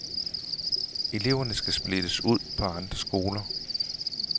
Eleverne skal splittes ud på andre skoler.